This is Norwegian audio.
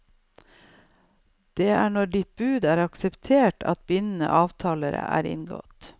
Det er når ditt bud er akseptert, at bindende avtale er inngått.